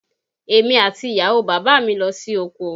Èmi àti ìyàwó bàbá mi lọ sí oko